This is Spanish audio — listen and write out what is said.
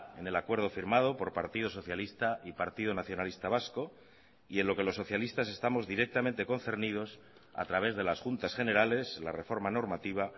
en el acuerdo firmado por partido socialista y partido nacionalista vasco y en lo que los socialistas estamos directamente concernidos a través de las juntas generales la reforma normativa